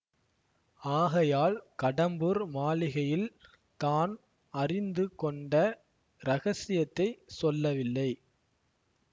ஆகையால் கடம்பூர் மாளிகையில் தான் அறிந்து கொண்ட இரகசியத்தைச் சொல்லவில்லை